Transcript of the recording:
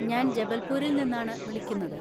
ഞാൻ ജബൽപൂരിൽ നിന്നാണ് വിളിക്കുന്നത്.